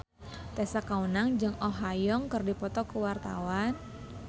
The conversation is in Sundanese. Tessa Kaunang jeung Oh Ha Young keur dipoto ku wartawan